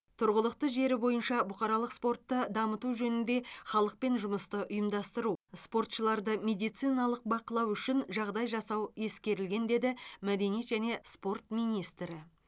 тұрғылықты жері бойынша бұқаралық спортты дамыту жөнінде халықпен жұмысты ұйымдастыру спортшыларды медициналық бақылау үшін жағдай жасау ескерілген деді мәдениет және спорт министрі